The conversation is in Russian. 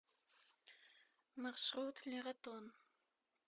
маршрут лератон